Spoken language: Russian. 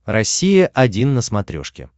россия один на смотрешке